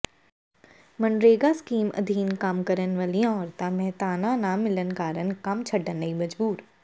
MNREGA scheme ਅਧੀਨ ਕੰਮ ਕਰਨ ਵਾਲੀਆਂ ਔਰਤਾਂ ਮਿਹਨਤਾਨਾ ਨਾ ਮਿਲਣ ਕਾਰਨ ਕੰਮ ਛੱਡਣ ਲਈ ਮਜਬੂਰ